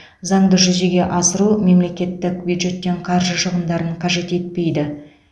заңды жүзеге асыру мемлекеттік бюджеттен қаржы шығындарын қажет етпейді